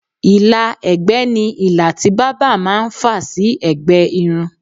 ìlà ẹ̀gbẹ́ ni ilà tí bábà máà ń fà sí ẹ̀gbẹ́ irun